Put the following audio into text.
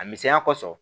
A misɛnya kosɔn